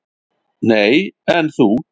"""Nei, en þú?"""